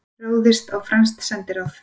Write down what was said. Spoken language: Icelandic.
Ráðist á franskt sendiráð